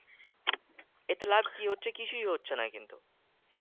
এতে লাভ কি হচ্ছে? কিছুই হচ্ছে না কিন্তু